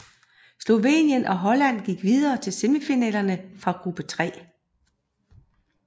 Slovenien og Holland gik videre til Semifinalerne fra gruppe 3